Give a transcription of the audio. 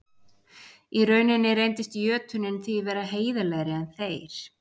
Í rauninni reyndist jötunninn því vera heiðarlegri en þeir.